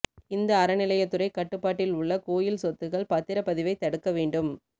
இந்து அறநிலையத்துறை கட்டுபாட்டில் உள்ள கோயில் சொத்துக்கள் பத்திரப்பதிவை தடுக்க வேண்டும்